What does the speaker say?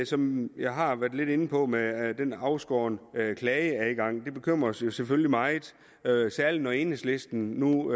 som jeg har været lidt inde på med den afskårne klageadgang bekymrer os jo selvfølgelig meget særlig når enhedslisten nu